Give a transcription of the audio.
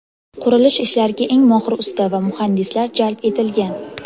Qurilish ishlariga eng mohir usta va muhandislar jalb etilgan.